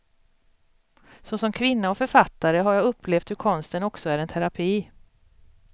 Såsom kvinna och författare har jag upplevt hur konsten också är en terapi.